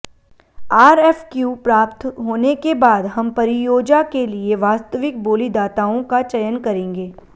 RFQ प्राप्त होने के बाद हम परियोजा के लिए वास्तविक बोलीदाताओं का चयन करेंगें